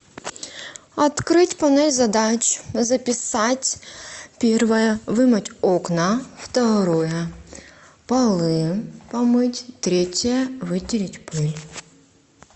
открыть панель задач записать первое вымыть окна второе полы помыть третье вытереть пыль